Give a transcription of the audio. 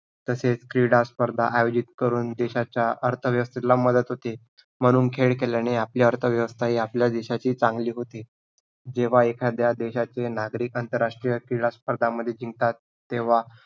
तसेच क्रीडा स्पर्धा आयोजित करून देशाच्या अर्थव्यवस्थेला मदत होते, म्हणून खेळ केल्याने आपले अर्थव्यवस्था ही आपल्या देशाचे चांगले होते, जेव्हा एखाद्या देशाचे नागरिक आंतरराष्ट्रीय क्रीडा स्पर्धामध्ये जिंकतात, तेव्हा